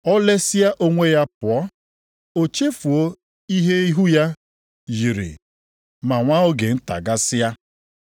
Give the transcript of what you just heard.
O lesịa onwe ya pụọ, o chefuo ihe ihu ya yiri ma nwa oge nta gasịa.